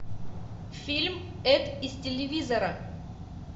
фильм эд из телевизора